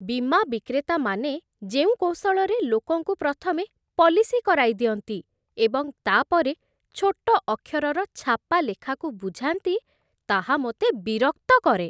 ବୀମା ବିକ୍ରେତାମାନେ ଯେଉଁ କୌଶଳରେ ଲୋକଙ୍କୁ ପ୍ରଥମେ ପଲିସି କରାଇଦିଅନ୍ତି, ଏବଂ ତା'ପରେ ଛୋଟ ଅକ୍ଷରର ଛାପା ଲେଖାକୁ ବୁଝାନ୍ତି, ତାହା ମୋତେ ବିରକ୍ତ କରେ।